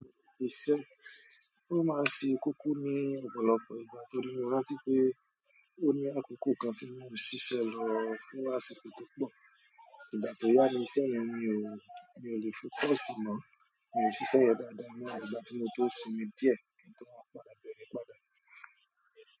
Ó máa ṣe kókó ní ọ̀pọ̀lọpọ̀ ìgbà tó ní mo rántí pé ó ní àkókò kan tí mò ń ṣíṣe lọ fún àsìkò tó pọ̀. Ìgbà tó yá ni iṣẹ́ yẹn mi ò, mi ò lè fi paise mọ́, mi ò ṣiṣẹ́ yẹm dáadáa mọ́ àfi ìgbà tí mo tó sinmi díẹ̀ kí n tó wá padà bẹ̀rẹ̀ padà.